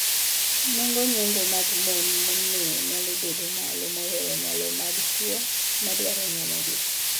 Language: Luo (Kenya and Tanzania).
Nengo nyombo mag mon momeo nyalo bedo malo mohewo nyalo mag chwo ma dwaro nyuomogi.